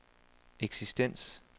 eksistens